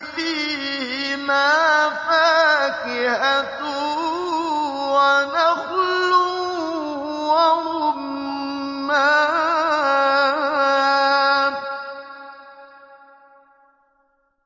فِيهِمَا فَاكِهَةٌ وَنَخْلٌ وَرُمَّانٌ